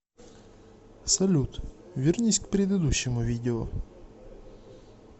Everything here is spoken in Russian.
салют вернись к предыдущему видео